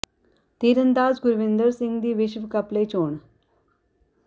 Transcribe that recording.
ਤੀਰ ਅੰਦਾਜ਼ ਗੁਰਵਿੰਦਰ ਸਿੰਘ ਦੀ ਵਿਸ਼ਵ ਕੱਪ ਲਈ ਚੋਣ